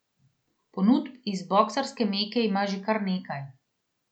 Ponudb iz boksarske meke ima že kar nekaj.